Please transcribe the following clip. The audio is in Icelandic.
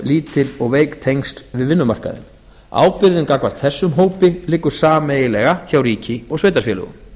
lítil og veik tengsl við vinnumarkaðinn ábyrgðin gagnvart þessum hópi liggur sameiginlega hjá ríki og sveitarfélögum